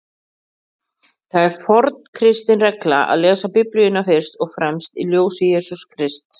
Það er forn kristin regla að lesa Biblíuna fyrst og fremst í ljósi Jesú Krists.